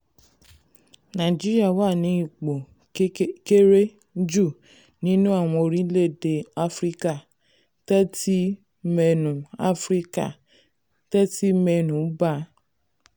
nàìjíríà wà ní ipò kéré jù nínú àwọn orílẹ̀-èdè áfíríkà thirty mẹ́nu áfíríkà thirty mẹ́nu bà.